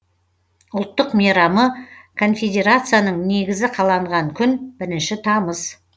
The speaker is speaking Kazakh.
ұлттық мейрамы конфедерацияның негізі қаланған күн бірінші тамыз